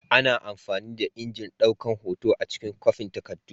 Ana amfani da injin daukan hoto a cikin kwafin takardu.